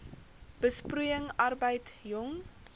besproeiing arbeid jong